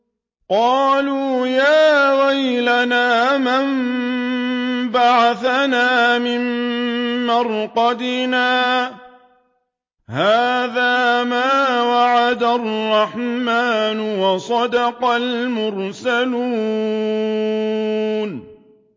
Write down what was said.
قَالُوا يَا وَيْلَنَا مَن بَعَثَنَا مِن مَّرْقَدِنَا ۜۗ هَٰذَا مَا وَعَدَ الرَّحْمَٰنُ وَصَدَقَ الْمُرْسَلُونَ